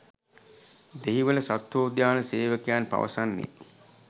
දෙහිවල සත්වෝද්‍යාන සේවකයන් පවසන්නේ